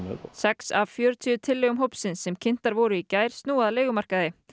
sex af fjörutíu tillögum hópsins sem kynntar voru í gær snúa að leigumarkaði